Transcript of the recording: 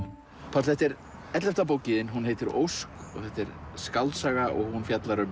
Páll þetta er ellefta bókin þín hún heitir Ósk þetta er skáldsaga og hún fjallar um